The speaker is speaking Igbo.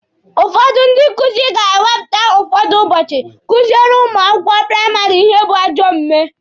Ụfọdụ ndị nkụzi ga-ewepụta ụfọdụ ụbọchị kuziele ụmụ akwụkwọ praịmarị ihe bụ ajọ omume.